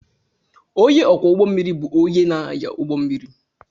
Ónyé ọkwọ ụgbọ mmiri bụ ónyé na-anya ụgbọ mmiri.